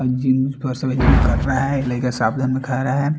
कर रहा है लड़का सावधान में खड़ा है।